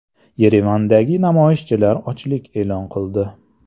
Yerevandagi namoyishchilar ochlik e’lon qildi.